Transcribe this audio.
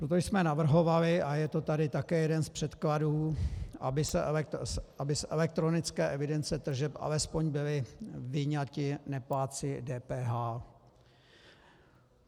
Proto jsme navrhovali, a je to tady také jeden z předkladů, aby z elektronické evidence tržeb alespoň byli vyňati neplátci DPH.